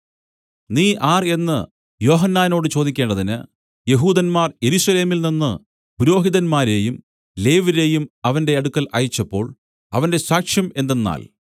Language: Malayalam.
നീ ആർ എന്നു യോഹന്നാനോടു ചോദിക്കേണ്ടതിന് യെഹൂദന്മാർ യെരൂശലേമിൽ നിന്നു പുരോഹിതന്മാരെയും ലേവ്യരെയും അവന്റെ അടുക്കൽ അയച്ചപ്പോൾ അവന്റെ സാക്ഷ്യം എന്തെന്നാൽ